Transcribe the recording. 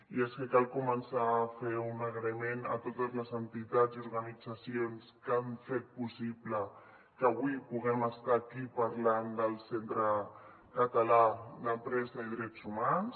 i és que cal començar a fer un agraïment a totes les entitats i organitzacions que han fet possible que avui puguem estar aquí parlant del centre català d’empresa i drets humans